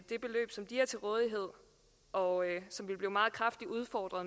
det beløb som de har til rådighed og som vil blive meget kraftigere udfordret